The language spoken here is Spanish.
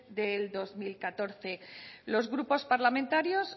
de dos mil catorce los grupos parlamentarios